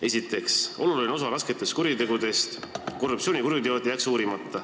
Esiteks jääks uurimata oluline osa rasketest kuritegudest – korruptsioonikuriteod.